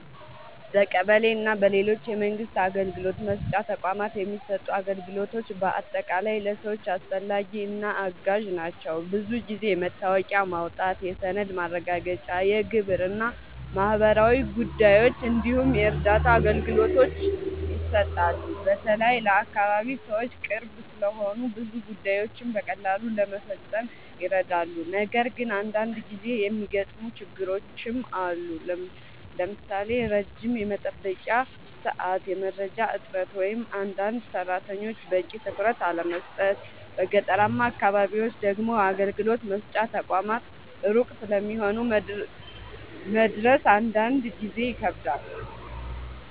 በቀበሌ እና በሌሎች የመንግስት አገልግሎት መስጫ ተቋማት የሚሰጡ አገልግሎቶች በአጠቃላይ ለሰዎች አስፈላጊ እና አጋዥ ናቸው። ብዙ ጊዜ የመታወቂያ ማውጣት፣ የሰነድ ማረጋገጫ፣ የግብር እና ማህበራዊ ጉዳዮች እንዲሁም የእርዳታ አገልግሎቶች ይሰጣሉ። በተለይ ለአካባቢ ሰዎች ቅርብ ስለሆኑ ብዙ ጉዳዮችን በቀላሉ ለመፈጸም ይረዳሉ። ነገር ግን አንዳንድ ጊዜ የሚገጥሙ ችግሮችም አሉ፣ ለምሳሌ ረጅም የመጠበቂያ ሰዓት፣ የመረጃ እጥረት ወይም አንዳንድ ሰራተኞች በቂ ትኩረት አለመስጠት። በገጠራማ አካባቢዎች ደግሞ አገልግሎት መስጫ ተቋማት ሩቅ ስለሚሆኑ መድረስ አንዳንድ ጊዜ ይከብዳል።